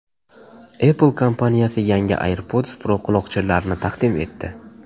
Apple kompaniyasi yangi AirPods Pro quloqchinlarini taqdim etdi.